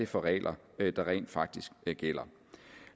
for regler der rent faktisk gælder